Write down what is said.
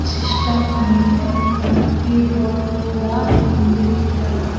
system ఉంది ఇంకా keyboard కూడా ఉంది ఇక్కడ--